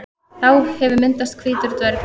Þá hefur myndast hvítur dvergur.